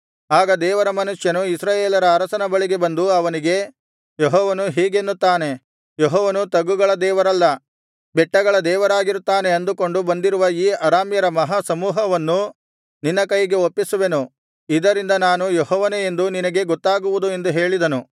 ಆಗ ದೇವರ ಮನುಷ್ಯನು ಇಸ್ರಾಯೇಲರ ಅರಸನ ಬಳಿಗೆ ಬಂದು ಅವನಿಗೆ ಯೆಹೋವನು ಹೀಗೆನ್ನುತ್ತಾನೆ ಯೆಹೋವನು ತಗ್ಗುಗಳ ದೇವರಲ್ಲ ಬೆಟ್ಟಗಳ ದೇವರಾಗಿರುತ್ತಾನೆ ಅಂದುಕೊಂಡು ಬಂದಿರುವ ಈ ಅರಾಮ್ಯರ ಮಹಾ ಸಮೂಹವನ್ನು ನಿನ್ನ ಕೈಗೆ ಒಪ್ಪಿಸುವೆನು ಇದರಿಂದ ನಾನು ಯೆಹೋವನೇ ಎಂದು ನಿನಗೆ ಗೊತ್ತಾಗುವುದು ಎಂದು ಹೇಳಿದನು